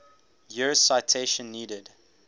years citation needed